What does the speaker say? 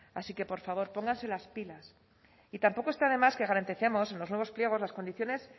así que por favor pónganse las pilas y tampoco está de más que garanticemos los nuevos pliegos las condiciones